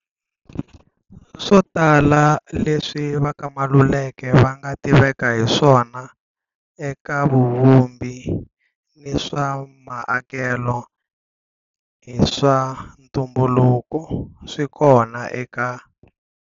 Swo tala leswi va ka Maluleke va nga tiveka hi swona eka vuvumbi ni swa ma'akelo hi swa ntumbuluko, swi kona eka.